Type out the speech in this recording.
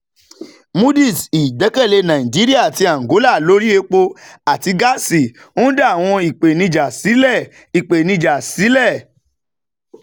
moody's: ìgbẹ́kẹ̀lé nàìjíríà àti àǹgólà lórí epo àti gáàsì ń dá àwọn ìpèníjà sílẹ̀ ìpèníjà sílẹ̀